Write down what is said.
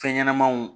Fɛn ɲɛnɛmanw